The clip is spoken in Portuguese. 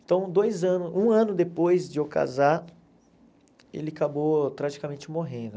Então, dois anos, um ano depois de eu casar, ele acabou tragicamente morrendo.